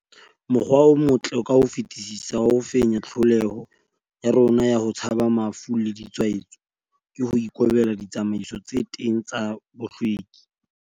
Mokgwa o motle ka ho fetisisa wa ho fenya tlholeho ya rona ya ho tshaba mafu le ditshwaetso, ke ho ikobela ditsamaiso tse teng tsa bohlweki.